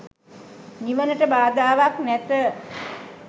නිවනට බාධාවක් නැත.